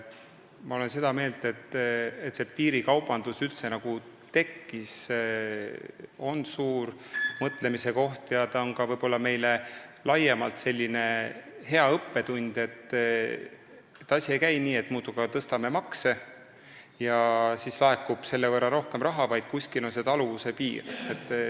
Ma olen seda meelt, et piirikaubanduse tekkimine üldse on suur mõtlemise koht ja võib-olla meile laiemalt hea õppetund, et asi ei käi nii, et muudkui aga tõstame makse ja selle võrra laekub rohkem raha, vaid kuskil on taluvuse piir.